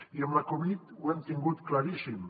i amb la covid ho hem tingut claríssim